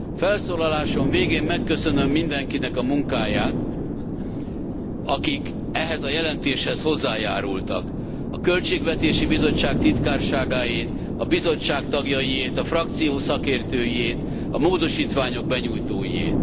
Felszólalásom végén megköszönöm mindenkinek a munkáját, akik ehhez a jelentéshez hozzájárultak, a Költségvetési Bizottság titkárságáét, a Bizottság tagjait, a frakció szakértőiét, a módosítások benyújtóiét.